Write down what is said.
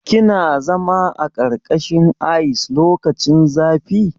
Kina zama a ƙarƙashin ice lokacin zafi?